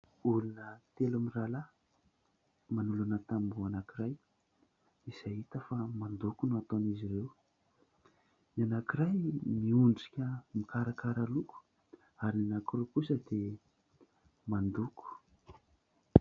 Olona telo mirahalahy manolana tamboho anankiray izay hita fa mandoko no ataon'izy ireo. Ny anankiray miondrika mikarakara loko ary ny anankiroa kosa dia mandoko.